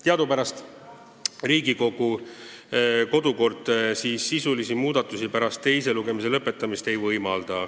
Teadupärast Riigikogu kodukord sisulisi muudatusi pärast teise lugemise lõpetamist ei võimalda.